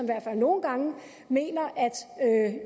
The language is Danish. hvert fald nogle gange mener at